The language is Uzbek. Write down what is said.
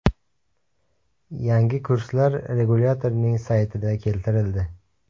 Yangi kurslar regulyatorning saytida keltirildi .